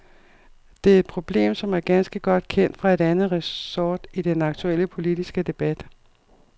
Det er et problem, som er ganske godt kendt fra et andet resort i den aktuelle politiske debat.